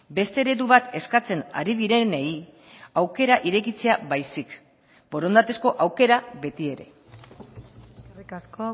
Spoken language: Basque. beste eredu bat eskatzen ari direnei aukera irekitzea baizik borondatezko aukera beti ere eskerrik asko